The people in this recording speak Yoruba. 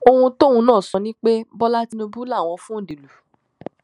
ohun tóun náà sọ ni pé bọlá tìǹbù làwọn fòǹdè lù